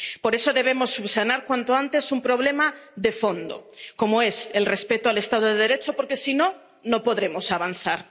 Por eso debemos subsanar cuanto antes un problema de fondo, como es el respeto al Estado de Derecho, porque si no, no podremos avanzar.